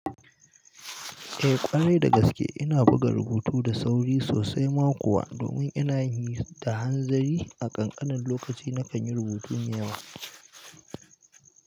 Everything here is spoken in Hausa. Eh, ƙwarai da gaske, ina buga rubutu da sauri sosai ma kuwa domin ina yin sa da hanzari a ƙanƙanin lokaci na kan yi rubutu mai yawa.